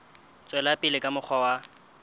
tswela pele ka mokgwa wa